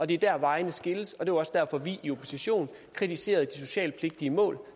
det er der vejene skilles og det var også derfor at vi i opposition kritiserede de socialpligtige mål